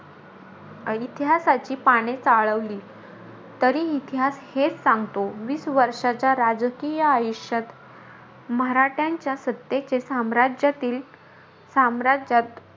इतिहासाची पाने चालवली तरी इतिहास हेचं सांगतो. वीस वर्षाच्या राजकीय आयुष्यात मराठांच्या सत्तेचे साम्राज्यातील साम्राज्यात,